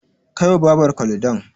Kai wa Babarka Ludon.